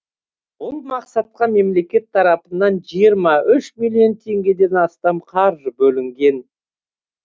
бұл мақсатқа мемлекет тарапынан миллион теңгеден астам қаржы бөлінген